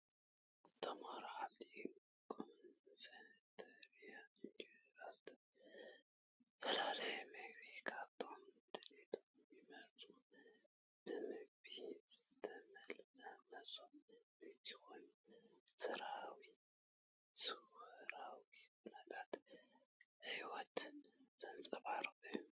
ተምሃሮ ኣብቲ ካፈተርያ እንጀራን ዝተፈላለዩ ምግብታትን ከከም ድሌቶም ይመርጹን ። ብምግቢ ዝተመልአ መሶብ ምግቢ ኮይኑ፡ ሰውራዊ ኩነታት ህይወት ዘንጸባርቕ እዩ።